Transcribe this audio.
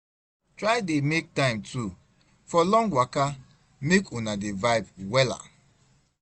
try dey mek time too for long waka mek una dey vibe wella